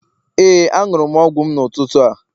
Ee, anụrụ m ọgwụ m n'ụtụtụ a.